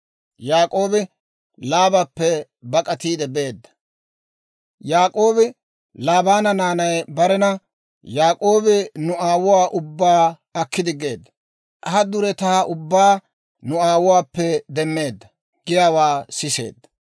Yaak'oobi Laabaana naanay barena, «Yaak'oobi nu aawuwaa ubbaa aki diggeedda; ha duretaa ubbaa nu aawuwaappe demmeedda» giyaawaa siseedda.